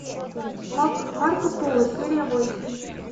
марко поло серия восемь